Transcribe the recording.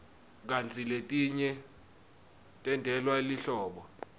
kantsi letinye tentelwe lihlobo